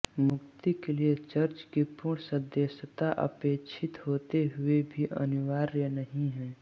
मुक्ति के लिये चर्च की पूर्ण सदस्यता अपेक्षित होते हुए भी अनिवार्य नहीं है